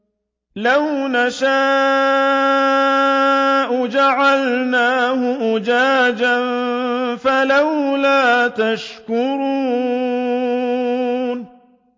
لَوْ نَشَاءُ جَعَلْنَاهُ أُجَاجًا فَلَوْلَا تَشْكُرُونَ